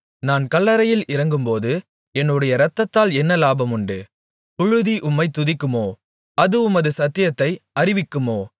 நான் கல்லறையில் இறங்கும்போது என்னுடைய இரத்தத்தால் என்ன லாபமுண்டு புழுதி உம்மைத் துதிக்குமோ அது உமது சத்தியத்தை அறிவிக்குமோ